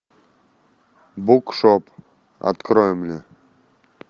букшоп открой мне